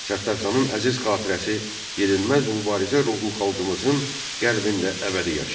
Səttarxanın əziz xatirəsi, yenilməz mübarizə ruhu xalqımızın qəlbində əbədi yaşayır.